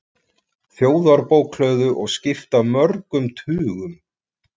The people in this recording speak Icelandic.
Þjóðarbókhlöðu og skipta mörgum tugum.